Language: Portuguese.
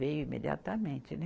Veio imediatamente, né?